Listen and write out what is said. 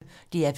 DR P1